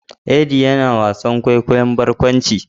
Eddie yana wasan kwaikwayon barkwanci